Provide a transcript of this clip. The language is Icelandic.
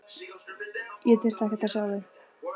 Ég þurfti ekkert að sjá þig.